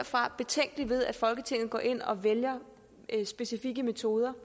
fra betænkelig ved at folketinget skulle gå ind og vælge specfikke metoder